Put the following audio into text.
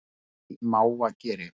Ein í mávageri